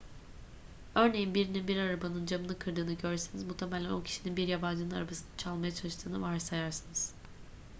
örneğin birinin bir arabanın camını kırdığını görseniz muhtemelen o kişinin bir yabancının arabasını çalmaya çalıştığını varsayarsınız